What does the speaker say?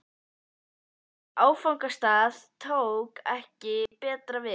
Í áfangastað tók ekki betra við.